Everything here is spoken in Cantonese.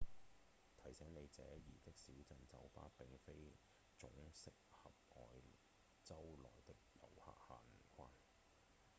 提醒您：這兒的小鎮酒吧並非總適合外州來的遊客閒逛